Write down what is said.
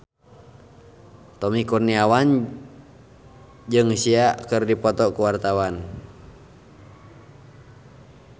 Tommy Kurniawan jeung Sia keur dipoto ku wartawan